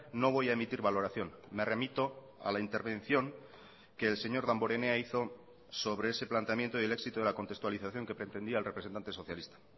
no voy a emitir valoración me remito a la intervención que el señor damborenea hizo sobre ese planteamiento y el éxito de la contextualización que pretendía el representante socialista